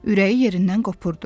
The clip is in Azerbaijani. Ürəyi yerindən qopurdu.